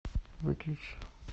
выключи